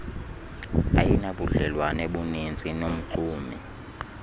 ayinabudlelwane buninzi nomxumi